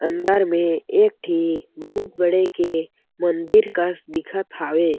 अंदर में एक ठी बहुत बड़े के मंदिर कस दिखत हावे।